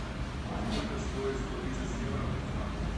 сколько стоит сто тридцать евро в франках